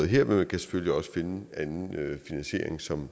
her men man kan selvfølgelig også finde anden finansiering som